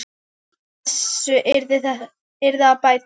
Úr þessu yrði að bæta.